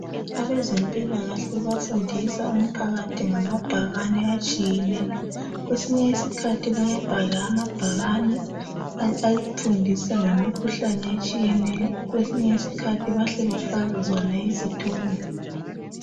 Abezempilakahle bafundisa umphakathi ngamabhakani atshiyeneyo kwesinye isikhathi bayabhala amabhakani afundisa ngemikhuhlane etshiyeneyo kwesinye isikhathi bahle bafake zona izithombe.